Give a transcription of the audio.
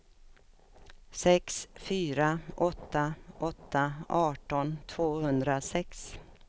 sex fyra åtta åtta arton tvåhundrasex